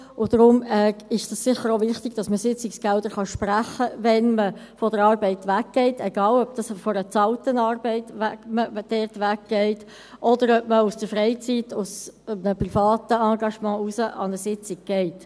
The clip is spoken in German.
Deshalb ist es sicher auch wichtig, dass man Sitzungsgelder sprechen kann, wenn man von der Arbeit weggeht, egal ob man von einer bezahlten Arbeit weggeht oder ob man aus einem privaten Engagement heraus an eine Sitzung geht.